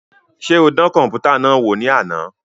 Ṣe o dàn kọnputa náà wò ni àna?